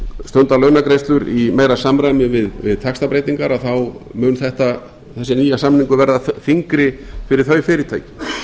stundað launagreiðslur í meira samræmi við taxtabreytingar þá mun þessi nýi samningur verða þyngri fyrir þau fyrirtæki við